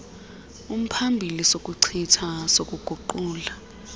umphambili sokuchitha sokuguqula